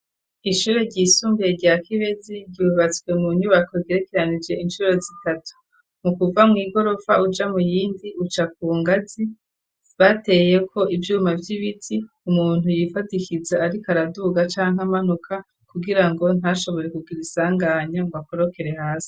Ishure ryisumbiye rya Kibezi ryubatswe mu nyubako igerekeranije ishuro zitatu mu kuva mw'igorofa uja mu yindi uca kungazi bateye ko ivyuma vy'ibiti umuntu yifadikiza ariko araduhuga canke amanuka kugira ngo ntashobore kugira isanganya ngo akorokere hasi.